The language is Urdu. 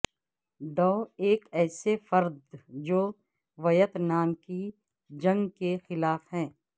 ڈو ایک ایسے فرد جو ویت نام کی جنگ کے خلاف ہے